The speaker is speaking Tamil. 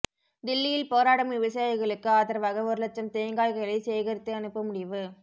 தில்லியில் போராடும் விவசாயிகளுக்கு ஆதரவாக ஒரு லட்சம் தேங்காய்களை சேகரித்து அனுப்ப முடிவு